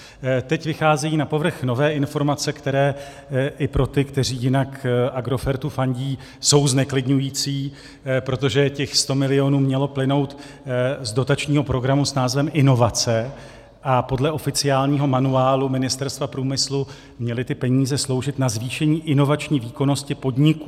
Teď vycházejí na povrch nové informace, které i pro ty, kteří jinak Agrofertu fandí, jsou zneklidňující, protože těch 100 milionů mělo plynout z dotačního programu s názvem Inovace a podle oficiálního manuálu Ministerstva průmyslu měly ty peníze sloužit na zvýšení inovační výkonnosti podniků.